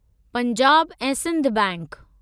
पंजाब ऐं सिंध बैंक